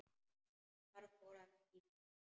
Þar fór í verra.